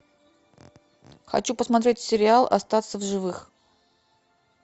хочу посмотреть сериал остаться в живых